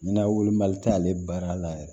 N'a wuli mali tɛ ale baara la yɛrɛ